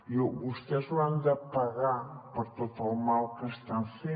i vostès hauran de pagar per tot el mal que estan fent